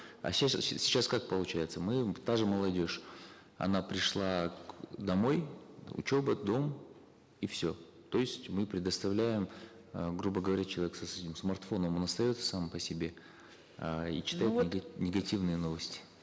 а сейчас сейчас как получается мы та же молодежь она пришла домой учеба дом и все то есть мы предоставляем э грубо говоря человек с этим смартфоном он остается сам по себе э и читает негативные новости